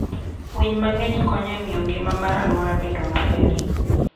Winy mang'eny konyo e miyo ngima mar aluora bedo maber.